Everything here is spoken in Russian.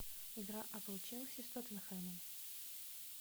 игра апл челси с тоттенхэмом